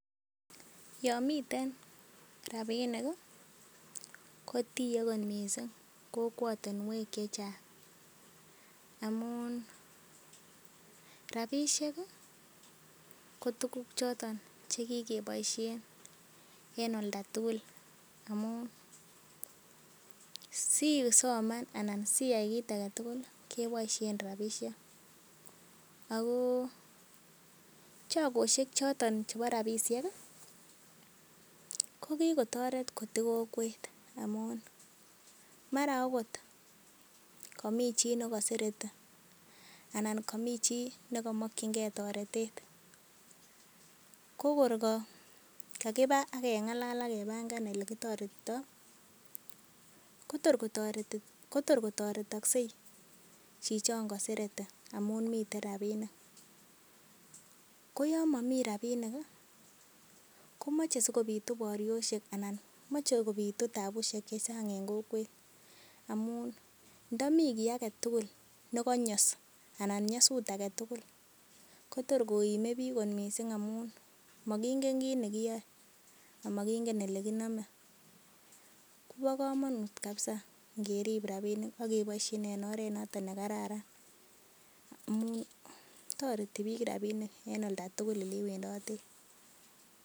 Yon miten rabinik kotie kot mising kokwotinwek che chang. Amun rabishek ko tuguk choton che kigeboishen en olda tugul amun siisoman anan siyai kit age tugul keboishen rabishek, ago chogoshek choton chebo rabishek ko kigo toret kotiii kokwet amun mara ogot komi chi negosereti anan komi chi ne komokin ge toretet ko kor kakiba ak kebangan ole kitoretito, kotor kotoretokse chichon kosereti amun miten rabinik. Ko yon momi rabinik, komoche sikobitu boryosek anan moche kobitu taabusiek chechang en kokwet amun, ndo mi kiy age tugul ne konyos anan nyasut age tugul kotor koime biik kot mising amun mokingen kit ne kiyae ama kingen ele kinome. KO bo komonut kabisa ngerib rabishek aka ingeboishen en oret noton nekararan. Amun toreti biik rabinik en olda tugul ole iwendoten.